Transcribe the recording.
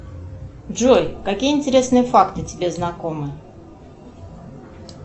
джой какие интересные факты тебе знакомы